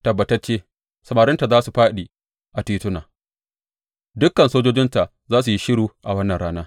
Tabbatacce, samarinta za su fāɗi a tituna; dukan sojojinta za su yi shiru a wannan rana,